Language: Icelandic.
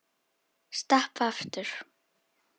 Stappa aftur.